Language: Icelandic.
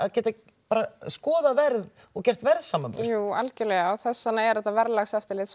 skoða verð og gera verðsamanburð jú algerlega þess vegna er þetta verðlagseftirlit svo